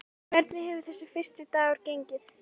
Hvernig hefur þessi fyrsti dagur gengið?